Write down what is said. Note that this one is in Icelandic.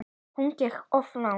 Hún gekk of langt.